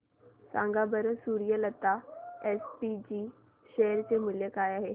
सांगा बरं Suryalata SPG share चे मूल्य किती आहे